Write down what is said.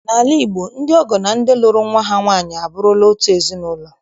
N'ala Igbo, ndị ọgọ na ndị lụrụ nwa ha nwaanyị abụrụla otu ezinụlọ